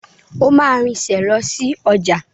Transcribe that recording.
O máa rinsẹ̀ lọ sí ọjà.